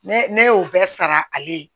Ne ne y'o bɛɛ sara ale ye